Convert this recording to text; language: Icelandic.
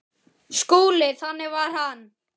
SKÚLI: Þannig var hann.